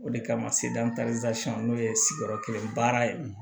O de kama sedu n'o ye sigiyɔrɔ kelen baara ye